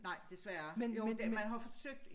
Nej desværre jo det man jo forsøgt